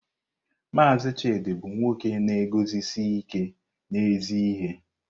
Mazị Chidi bụ nwoke na-eguzosi ike n'ezi ihe.